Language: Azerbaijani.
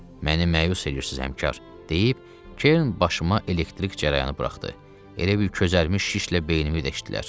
“Məni məyus eləyirsiz, həmkar,” deyib Kern başıma elektrik cərəyanı buraxdı, elə bil közərmiş şişlə beynimi deşdilər.